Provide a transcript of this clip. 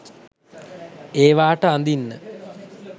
ඒවාට අඳින්න